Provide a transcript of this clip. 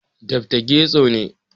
Dr. Getso ne